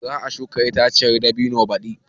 Za a shuka itaciyar dabino badi.